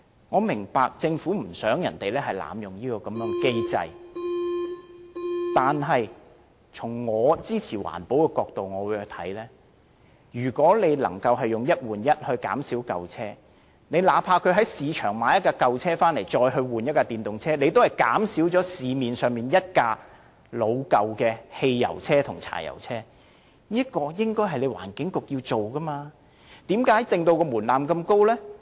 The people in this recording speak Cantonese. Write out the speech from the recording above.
我明白政府不想市民濫用這個機制，但從支持環保的角度看來，如果能藉"一換一"減少舊車，那怕是在市場購入一輛舊車再以之更換一輛電動車，也能令市面上老舊的汽油車或柴油車減少一輛，這是環境局應做的事，為何要把門檻訂得這麼高呢？